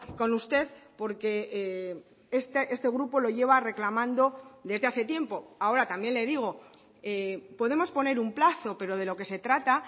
con usted porque este grupo lo lleva reclamando desde hace tiempo ahora también le digo podemos poner un plazo pero de lo que se trata